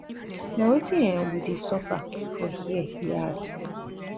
na wetin um we dey suffer for here e add